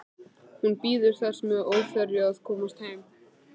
Hún bíður þess með óþreyju að komast heim.